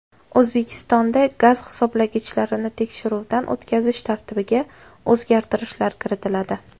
O‘zbekistonda gaz hisoblagichlarini tekshiruvdan o‘tkazish tartibiga o‘zgartirishlar kiritiladi.